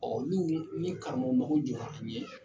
olu ni karamɔgɔ mago jɔra u ye.